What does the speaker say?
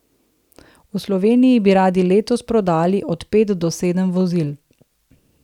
V Sloveniji bi radi letos prodali od pet do sedem vozil.